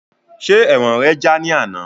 Ṣe ẹ̀wọ̀n rẹ já ní àná?